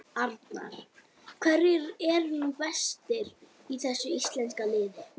Arnar: Hverjir eru nú bestir í þessu íslenska liði?